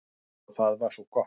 Og það er svo gott.